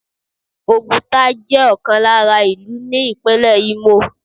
Oguta jẹ́ ọ̀kan lára ìlú ní Ìpínlẹ̀ Imo.